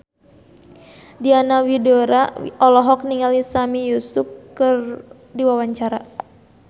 Diana Widoera olohok ningali Sami Yusuf keur diwawancara